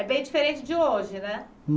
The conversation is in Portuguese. É bem diferente de hoje, né?